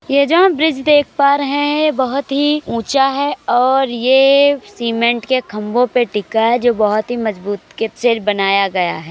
ये जो हम ब्रिज देख पा रहे हैं ये बहोत ही ऊँचा है और ये सिमेंट के खम्भों पे टिका है जो बहोत ही मजबूत के से बनाया गया है।